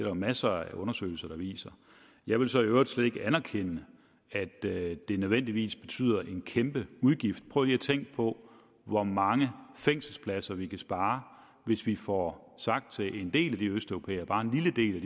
jo masser af undersøgelser der viser jeg vil så i øvrigt slet ikke anerkende at det nødvendigvis betyder en kæmpe udgift prøv lige at tænke på hvor mange fængselspladser vi kan spare hvis vi får sagt til en del af de østeuropæere bare en lille del